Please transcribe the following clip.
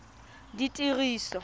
ditiriso